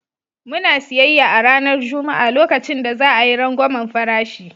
Muna siyayya a ranar Juma'a lokacin da za a yi rangwamen farashi.